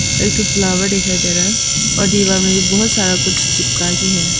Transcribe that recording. एक ठो फ्लावर दिखाई दे रहा है और दीवार में भी बहोत सारा कुछ चिपका के है।